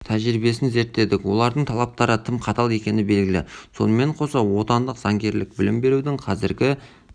жай-күйіне аналитикалық зерттеу жүргіздік академия құқық қорғау органдары үшін кадрларды даярлау жүйесін реформалаудың тұжырымдамалық жаңа